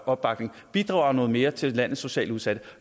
opbakning bidrager noget mere til landets socialt udsatte